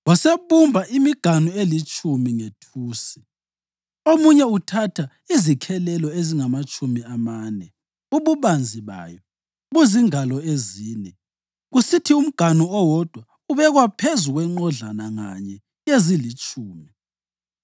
Wasebumba imiganu elitshumi ngethusi, umunye uthatha izikhelelo ezingamatshumi amane ububanzi bayo buzingalo ezine, kusithi umganu owodwa ubekwa phezu kwenqodlana nganye yezilitshumi.